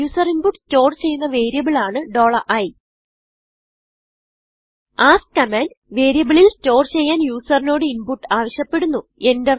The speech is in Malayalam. യൂസർ inputസ്റ്റോർ ചെയ്യുന്ന വേരിയബിൾ ആണ് i askകമാൻഡ് വേരിയബിളിൽ സ്റ്റോർ ചെയ്യാൻ യൂസറിനോട് ഇൻപുട്ട് ആവിശ്യപ്പെടുന്നു